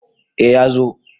A ya zo